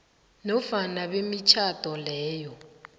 nofana bemitjhado leyo